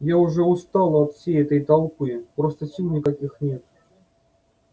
я уже устала от всей этой толпы просто сил никаких нет